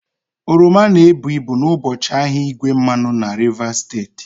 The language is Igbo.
Oroma na-ebu ibu n'ụbọchị ahịa igwe mmanụ na Rivers steeti